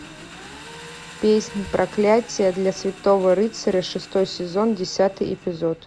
песнь проклятие для святого рыцаря шестой сезон десятый эпизод